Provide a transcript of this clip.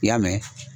I y'a mɛn